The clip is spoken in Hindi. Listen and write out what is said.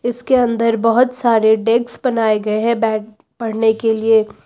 इसके अंदर बहोत सारे डेक्स बनाए गए हैं बैठ पढ़ने के लिए।